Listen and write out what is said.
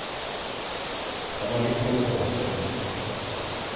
Han har litt å leve opp til.